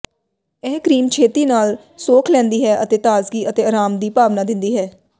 ਇਹ ਕ੍ਰੀਮ ਛੇਤੀ ਨਾਲ ਸੋਖ ਲੈਂਦੀ ਹੈ ਅਤੇ ਤਾਜ਼ਗੀ ਅਤੇ ਅਰਾਮ ਦੀ ਭਾਵਨਾ ਦਿੰਦੀ ਹੈ